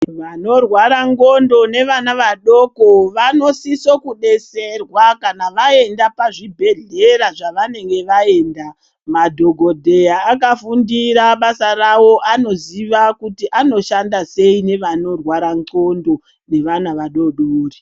Vanorwara ndxondo nevana vanodoko vanosiso kubetserwa kana vaenda kuzvibhedhlera zvavanenge vaenda madhokodheya akafundira basa ravo anoziya anoshanda sei nevanorwara ndxondo nevana vadodori .